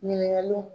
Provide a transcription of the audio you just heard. Ɲininkaliw